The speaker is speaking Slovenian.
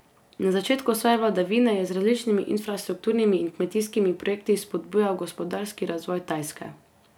Na začetku svoje vladavine je z različnimi infrastrukturnimi in kmetijskimi projekti spodbujal gospodarski razvoj Tajske.